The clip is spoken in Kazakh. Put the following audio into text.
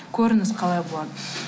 көріңіз қалай болады